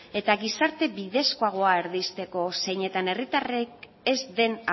eta gizarte bidezkoagoa erdizteko zeinetan herritarrek ez den